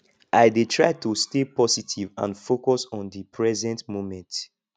i dey try to stay positive and focus on di present moment